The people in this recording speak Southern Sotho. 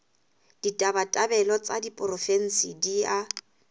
ditabatabelo tsa diporofensi di a